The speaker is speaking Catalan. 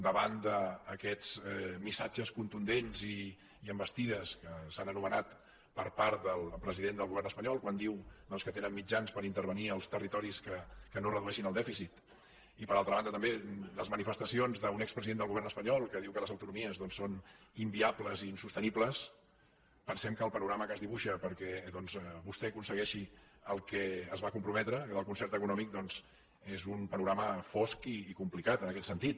davant d’aquests missatges contundents i envestides que s’han anomenat per part del president del govern espanyol quan diu doncs que tenen mitjans per intervenir als territoris que no redueixin el dèficit i per altra banda també les manifestacions d’un expresident del govern espanyol que diu que les autonomies són inviables i insostenibles pensem que el panorama que es dibuixa perquè vostè aconsegueixi el que s’hi va comprometre el concert econòmic és un panorama fosc i complicat en aquest sentit